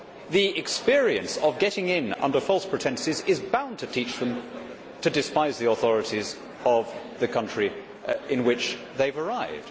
The experience of getting in under false pretences is bound to teach them to despise the authorities of the country in which they have arrived.